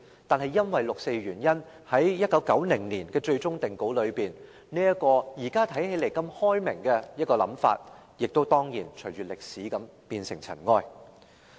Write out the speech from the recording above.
但是，因為發生了六四事件，在1990年的最終定稿中，這個現時看來相當開明的想法，當然亦跟隨歷史化為塵埃。